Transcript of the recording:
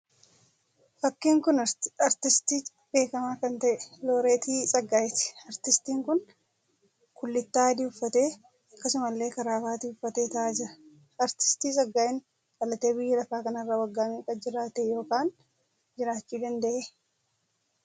Fakkii kun aartistii beekamaa kan ta'e Looreeti Tsaggaayeeti. Aartistiin kun kullittaa adii uffatee akkasumallee karaabaatii uffatee ta'aa jira. Aartistii Tsaggaayeen dhalatee biyya lafaa kanarra waggaa meeqa jiraate ykn jiraachuu danda'e?